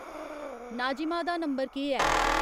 नाज़िमा दा नंबर केह् ऐ